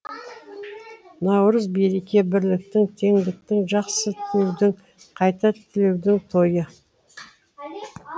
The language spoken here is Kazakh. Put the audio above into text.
наурыз береке бірліктің теңдіктің жақсы тілеудің қайта түлеудің тойы